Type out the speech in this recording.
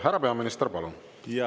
Härra peaminister, palun!